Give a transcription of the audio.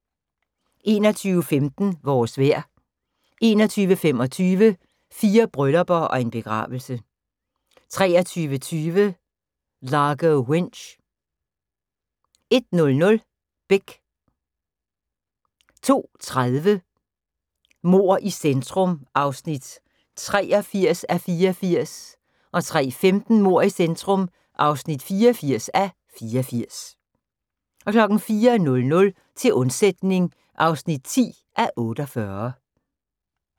21:15: Vores vejr 21:25: Fire bryllupper og en begravelse 23:20: Largo Winch 01:00: Beck 02:30: Mord i centrum (83:84) 03:15: Mord i centrum (84:84) 04:00: Til undsætning (10:48)